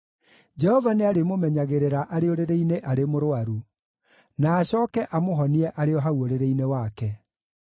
Jehova nĩarĩmũmenyagĩrĩra arĩ ũrĩrĩ-inĩ arĩ mũrũaru, na acooke amũhonie arĩ o hau ũrĩrĩ-inĩ wake.